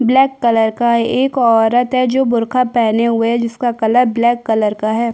Black colour का एक औरत है जो बुर्का पहने हुए जिसका कलर ब्लैक कलर का है।